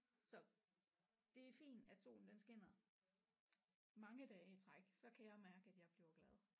Så det er fint at solen den skinner mange dage i træk så kan jeg mærke at jeg bliver glad